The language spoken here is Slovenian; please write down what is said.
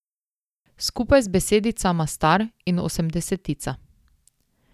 Skupaj z besedicama star in osemdesetica.